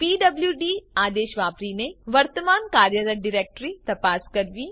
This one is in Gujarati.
પીડબ્લુડી આદેશ વાપરીને વર્તમાન કાર્યરત ડિરેક્ટરી તપાસ કરવી